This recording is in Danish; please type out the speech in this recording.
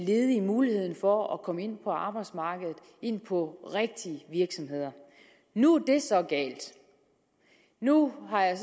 ledige mulighed for at komme ind på arbejdsmarkedet ind på rigtige virksomheder nu er det så galt nu har jeg